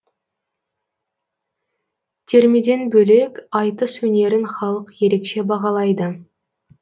термеден бөлек айтыс өнерін халық ерекше бағалайды